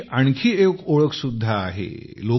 त्यांची आणखी एक ओळख सुद्धा आहे